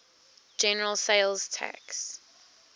general sales tax